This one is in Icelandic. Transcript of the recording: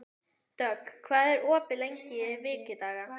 Dögg, hvað er opið lengi í Vikivaka?